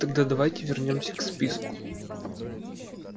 тогда давайте вернёмся к списку